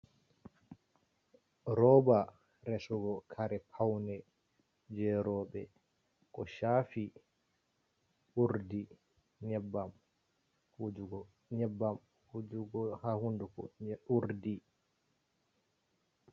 Roba resugo kare paune jeroɓe ko shafi urɗi nyebbam wujago ha hunduko urdi.